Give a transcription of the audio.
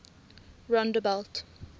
rondebult